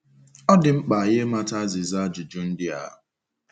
Ọ dị mkpa anyị ịmata azịza ajụjụ ndị a.